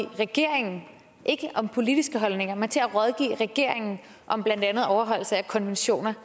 regeringen ikke om politiske holdninger men til at rådgive regeringen om blandt andet overholdelse af konventioner